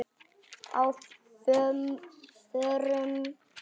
Á FÖRUM?